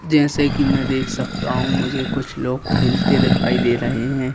जैसे की मे देख सकता हूं मुझे कुछ लोग खिलते दिखाई दे रहे हैं।